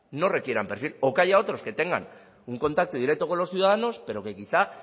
no requieran perfil o que haya otros que tengan un contacto directo con los ciudadanos pero que quizá